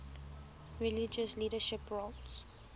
religious leadership roles